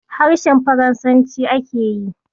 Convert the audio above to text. Harshen faransaci ake yi.